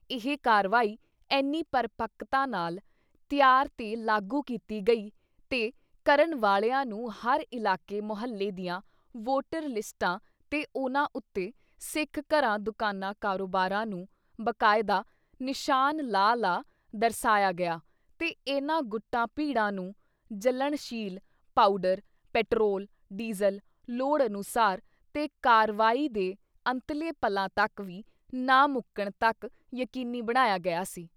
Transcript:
ਇਹ ਕਾਰਵਾਈ ਐਨੀ ਪਰਪੱਕਤਾ ਨਾਲ ਤਿਆਰ ਤੇ ਲਾਗੂ ਕੀਤੀ ਗਈ ਤੇ ਕਰਨ ਵਾਲ਼ਿਆਂ ਨੂੰ ਹਰ ਇਲਾਕੇ ਮੁਹੱਲੇ ਦੀਆਂ ਵੋਟਰ ਲਿਸਟਾਂ ‘ਤੇ ਉਨ੍ਹਾਂ ਉੱਤੇ ਸਿੱਖ ਘਰਾਂ, ਦੁਕਾਨਾਂ, ਕਾਰੋਬਾਰਾਂ ਨੂੰ ਬਾਕਾਇਦਾ ਨਿਸ਼ਾਨ ਲਾ-ਲਾ ਦਰਸਾਇਆ ਗਿਆ ਤੇ ਇਨ੍ਹਾਂ ਗੁੱਟਾਂ ਭੀੜਾਂ ਨੂੰ ਜਲਣਸ਼ੀਲ ਪਾਊਡਰ, ਪੈਟਰੋਲ, ਡੀਜ਼ਲ ਲੋੜ ਅਨੁਸਾਰ ਤੇ ਕਾਰਵਾਈ ਦੇ ਅੰਤਲੇ ਪਲਾਂ ਤੱਕ ਵੀ ਨਾ ਮੁਕਣ ਤੱਕ ਯਕੀਨੀ ਬਣਾਇਆ ਗਿਆ ਸੀ।